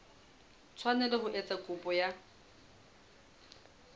tshwanela ho etsa kopo ya